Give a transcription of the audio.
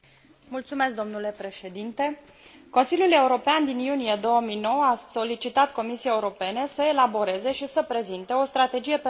Consiliul European din iunie 2009 a solicitat Comisiei Europene să elaboreze și să prezinte o strategie pentru regiunea Dunării până la sfârșitul anului